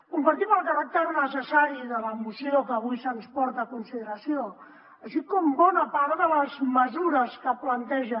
compartim el caràcter necessari de la moció que avui se’ns porta a consideració així com bona part de les mesures que planteja